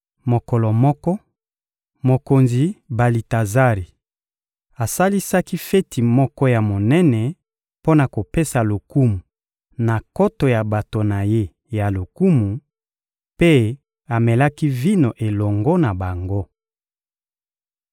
Mokolo moko, mokonzi Balitazari asalisaki feti moko ya monene mpo na kopesa lokumu na nkoto ya bato na ye ya lokumu; mpe amelaki vino elongo na bango.